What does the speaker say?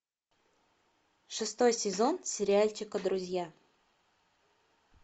шестой сезон сериальчика друзья